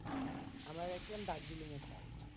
আমরা গেছিলাম দার্জিলিং এর side এ।